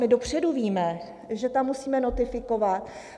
My dopředu víme, že tam musíme notifikovat.